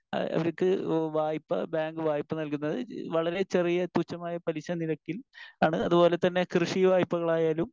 Speaker 1 അവർക്ക് ആഹ് വായ്പ ബാങ്ക് വായ്പ നൽകുന്നത് വളരെ ചെറിയ തുച്ഛമായ പലിശനിരക്കിൽ ആണ്. അതുപോലെ തന്നെ കൃഷി വായ്പകളായാലും